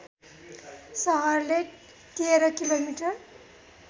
सहरले १३ किमि